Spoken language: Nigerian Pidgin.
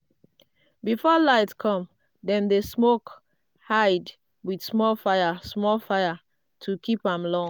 before light come dem dey smoke hide with small fire small fire to keep am long.